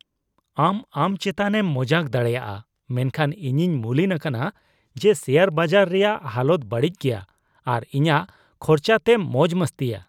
ᱟᱢ ᱟᱢ ᱪᱮᱛᱟᱱᱮᱢ ᱢᱚᱡᱟᱠ ᱫᱟᱲᱮᱭᱟᱜᱼᱟ, ᱢᱮᱱᱠᱷᱟᱱ ᱤᱧᱤᱧ ᱢᱩᱞᱤᱱ ᱟᱠᱟᱱᱟ ᱡᱮ ᱥᱮᱭᱟᱨ ᱵᱟᱡᱟᱨ ᱨᱮᱭᱟᱜ ᱦᱟᱞᱚᱛ ᱵᱟᱹᱲᱤᱡ ᱜᱮᱭᱟ ᱟᱨ ᱤᱧᱟᱜ ᱠᱷᱚᱨᱪᱟ ᱛᱮᱢ ᱢᱚᱡᱽᱼᱢᱚᱥᱛᱤᱭᱟ ᱾